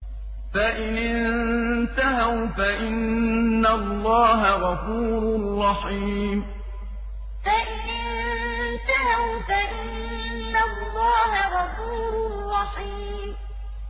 فَإِنِ انتَهَوْا فَإِنَّ اللَّهَ غَفُورٌ رَّحِيمٌ فَإِنِ انتَهَوْا فَإِنَّ اللَّهَ غَفُورٌ رَّحِيمٌ